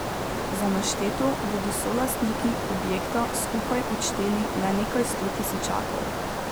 Za našteto bodo solastniki objekta skupaj odšteli le nekaj sto tisočakov.